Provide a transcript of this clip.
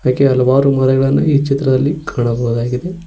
ಅದಕ್ಕೆ ಹಲವಾರು ಮರಗಳನ್ನು ಈ ಚಿತ್ರದಲ್ಲಿ ಕಾಣಬಹುದಾಗಿದೆ.